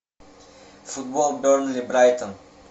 футбол бернли брайтон